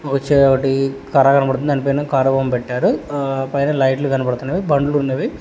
దానిపైన కారు బొమ్మ పెట్టారు పైన లైట్లు కనబడుతున్నవి బండ్లున్నవి.